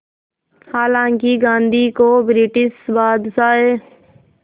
हालांकि गांधी को ब्रिटिश बादशाह